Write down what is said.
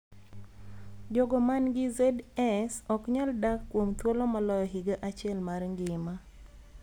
Jogo man gi ZS ok nyal dak kuom thuolo maloyo higa achiel mar ngima.